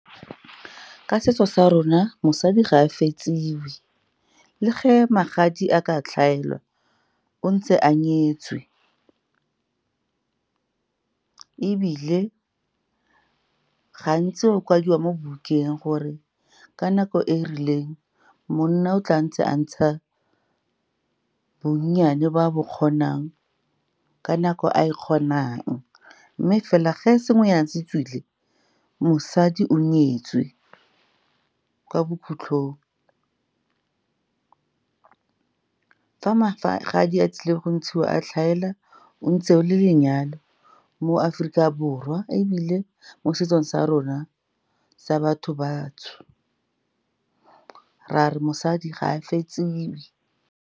Ka setso sa rona, mosadi ga a fetsiwe. Le ge magadi a ka tlhaelwa, o ntse a nyetswe, ebile gantsi o kwadiwa mo bukeng gore ka nako e e rileng monna o tla ntse a ntsha bonnyane ba bo kgonang ka nako a e kgonang. Mme fela ge sengwenyana se tswile, mosadi o nyetswe. Kwa bokhutlhong, fa magadi a tlile go ntshiwa a tlhaela, o ntse o le lenyalo mo Aforika Borwa, ebile mo setsong sa rona sa batho bantsho, ra re mosadi ga a fetsiwe.